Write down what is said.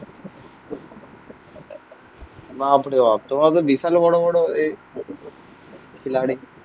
বাপরে বাপ. তোমরা তো বিশাল বড় বড় এ খিলাড়ি।